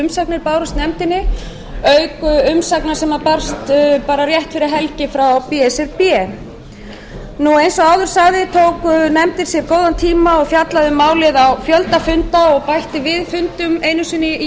u tuttugu og sjö umsagnir bárust nefndinni auk umsagna sem barst rétt fyrir helgi frá b s r b eins og áður sagði tók nefndin sér góðan tíma og fjallaði um málið á fjölda funda og bætt við fundum einu sinni í